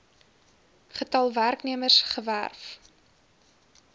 getal werknemers gewerf